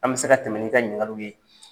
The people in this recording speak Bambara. An bɛ se ka tɛmɛ n'i ka ɲinikaliw ye.